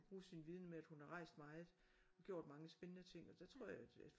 Bruge sin viden med at hun har rejst meget og gjort mange spændende ting og der tror jeg at at